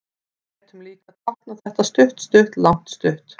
Við gætum líka táknað þetta stutt-stutt-langt-stutt.